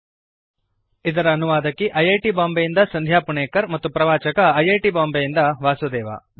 httpspoken tutorialorgNMEICT Intro ಇದರ ಅನುವಾದಕಿ I I T Bombay ಯಿಂದ ಸಂಧ್ಯಾ ಪುಣೇಕರ್ ಮತ್ತು ಪ್ರವಾಚಕ ಐ ಐ ಟಿ ಬಾಂಬೆಯಿಂದ ವಾಸುದೇವ